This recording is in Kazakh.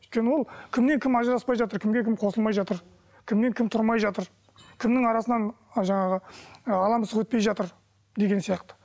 өйткені ол кіммен кім ажыраспай жатыр кімге кім қосылмай жатыр кіммен кім тұрмай жатыр кімнің арасынан жаңағы ы ала мысық өтпей жатыр деген сияқты